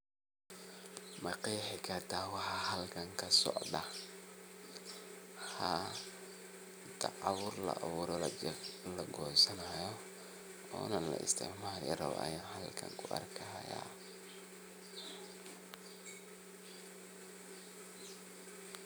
Ma qeexi kartaa waxaa halkan kasocdaa. Haa daacuur la abuuray oo lagoosanayo oo na laisticmaali rabo Ayan halkan kuarkaayaa.